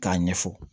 K'a ɲɛfɔ